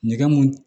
Nɛgɛ mun